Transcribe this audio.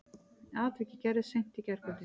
Atvikið gerðist í seint í gærkvöldi